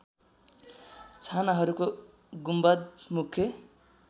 छानाहरूको गुम्बद मुख्य